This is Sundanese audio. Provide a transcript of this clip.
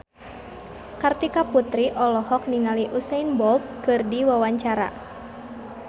Kartika Putri olohok ningali Usain Bolt keur diwawancara